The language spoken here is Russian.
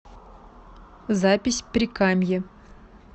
запись прикамье